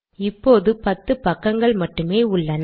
இப்போது 10 பக்கங்கள் மட்டுமே உள்ளன